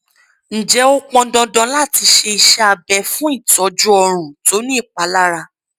ǹjẹ ó pọn dandan láti ṣe iṣẹ abẹ fún ìtọjú ọrùn tó ní ìpalára